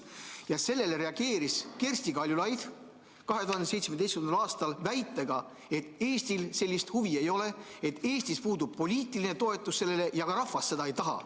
Ja sellele reageeris Kersti Kaljulaid 2017. aastal väitega, et Eestil sellist huvi ei ole, et Eestis puudub sellele poliitiline toetus ja ka rahvas seda ei taha.